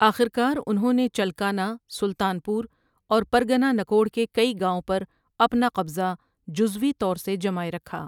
آخر کار انہوں نے چلکانہ، سلطان پور اور پرگنہ نکوڑ کے کئی گاؤں پر اپنا قبضہ جزوی طور سے جمائے رکھا ۔